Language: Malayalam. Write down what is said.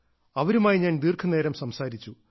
അവരുമായി ഞാൻ ദീർഘനേരം സംസാരിച്ചു